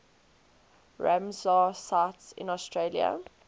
ramsar sites in australia